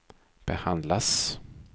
behandlas